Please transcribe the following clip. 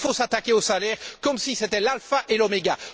Il faut s'attaquer aux salaires comme si c'était l'alpha et l'oméga.